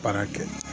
Baara kɛ